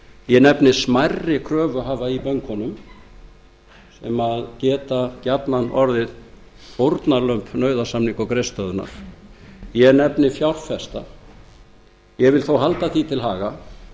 ég nefni smærri kröfuhafa í bönkunum um að geta jafnan orðið fórnarlömb nauðasamninga og greiðslustöðvunar ég nefni fjárfesta ég vil þó halda því til haga